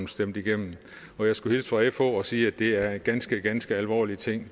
stemt igennem og jeg skulle hilse fra fh og sige at det er ganske ganske alvorlige ting